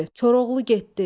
"Koroğlu getdi!"